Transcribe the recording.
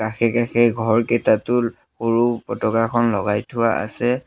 কাষে কাষে ঘৰকেইটাতো সৰু পতাকাখন লগাই থোৱা আছে।